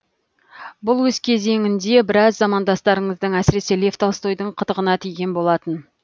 бұл өз кезеңінде біраз замандастарыңыздың әсіресе лев толстойдың қытығына тиген болатын